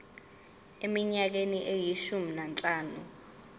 eminyakeni eyishumi nanhlanu